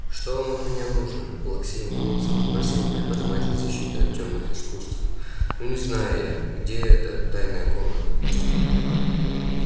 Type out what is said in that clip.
что вам от меня нужно плаксивым голосом спросил преподаватель защиты от тёмных искусств ну не знаю я где эта тайная комната